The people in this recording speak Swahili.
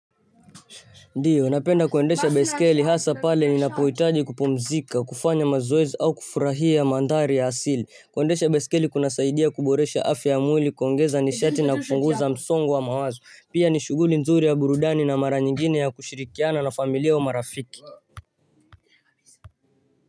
Ndio napenda kuendesha baiskeli hasa pale ninapohitaji kupumzika kufanya mazoezi au kufurahia mandari ya asili kuendesha baiskeli kuna saidia kuboresha afya ya mwili kuongeza nishati na kupunguza msongo wa mawazo pia nishuguli mzuri ya burudani na mara nyingine ya kushirikiana na familia wa marafiki.